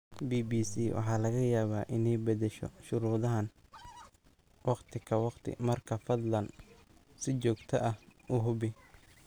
BBC waxaa laga yaabaa inay bedesho shuruudahan waqti ka waqti marka fadlan si joogto ah u hubi.